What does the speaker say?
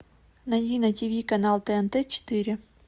найди на тв канал тнт четыре